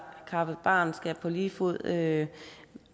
barn skal på lige fod med